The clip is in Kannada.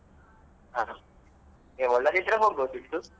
ಹ ಒಳ್ಳೆದಿದ್ರೆ ಹೋಗ್ಬೋದಿತ್ತು.